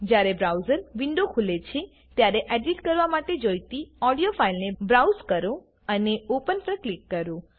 જ્યારે browser window ખુલે છે ત્યારે એડિટ કરવા માટે જોઈતી ઓડિયો ફાઈલને બ્રાઉઝ કરો અને ઓપન પર ક્લિક કરો